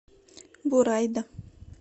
бурайда